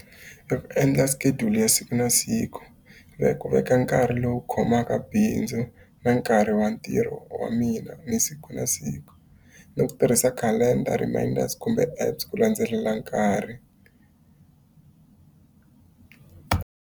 I ku endla schedule ya siku na siku ra ku veka nkarhi lowu khomaka bindzu na nkarhi wa ntirho wa mina ni siku na siku. Ni ku tirhisa calender reminders kumbe apps ku landzelela nkarhi.